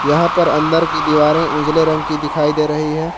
यहां पर अंदर की दीवारें उजले रंग की दिखाई दे रही हैं।